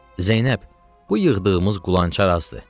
Zeynəb, bu yığdığımız qulançar azdır.